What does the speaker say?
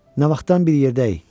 Nə vaxtdan bir yerdəyik?